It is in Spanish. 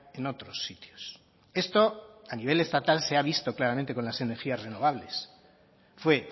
en otros sitios esto a nivel estatal se ha visto claramente con las energías renovables fue